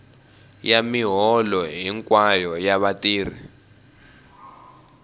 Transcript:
ya miholo hinkwayo ya vatirhi